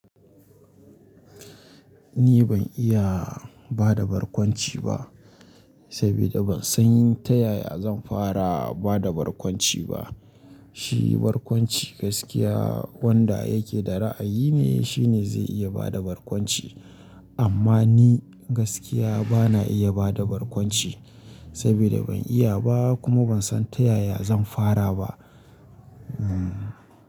Ni ban iya ba da barkwanci ba, saboda ban san yin ta yaya zan fara ba da barkwanci ba. Shi barkwanci gaskiya wanda yake da ra'ayi ne shine zai iya ba da barkwanci. Amma ni gaskiya bana iya ba da barkwanci saboda ban iya ba kuma ban san ta yaya zan fara ba. Hmm.